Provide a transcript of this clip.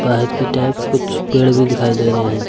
बाहर की टाइप कुछ पेड़ भी दिखाई दे रहे हैं।